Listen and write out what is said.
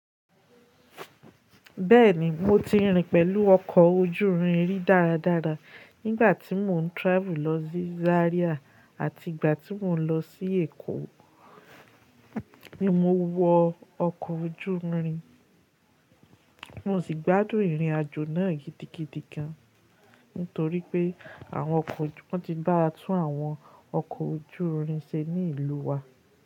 Bẹ́ẹ̀ni, mo ti rin pẹ̀lú ọkọ̀ ojúrin rí dáradára nígbàtí mò ń travel lọ sí Zaria àti ìgbà tí mò ń lọ sí Èkó ni mo wọ ọkọ̀ ojúrin. Mo sì gbádùn ìrìnàjò náà gidigidi gan, nítorí pé àwọn ọkọ̀ wọ́n ti báa tún àwọn ọkọ̀ ojúrin ṣe ní ìlú wa.